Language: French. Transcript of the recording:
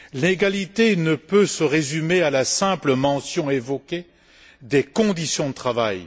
L'égalité ne peut se résumer à la simple mention évoquée des conditions de travail.